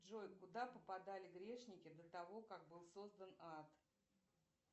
джой куда попадали грешники до того как был создан ад